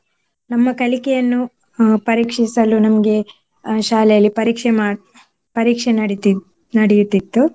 ನಮ್ಮ ಕಲಿಕೆಯನ್ನು ಅಹ್ ಪರೀಕ್ಷಿಸಲು ನಮ್ಗೆ ಅಹ್ ಶಾಲೆಯಲ್ಲಿ ಪರೀಕ್ಷೆ ಮಾಡ್~ ಪರೀಕ್ಷೆ ನಡೆತಿತ್ತ್~ ನಡೆಯುತ್ತಿತ್ತು.